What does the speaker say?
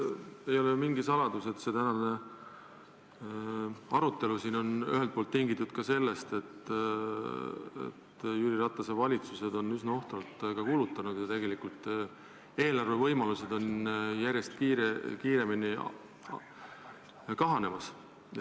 Ei ole ju mingi saladus, et see tänane arutelu on ühelt poolt tingitud ka sellest, et Jüri Ratase valitsused on üsna ohtralt kulutanud ja eelarvevõimalused on järjest kiiremini kahanemas.